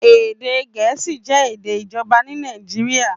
Èdè Gẹ̀ẹ́sì jẹ́ èdè ìjọba ní Nàìjíríà.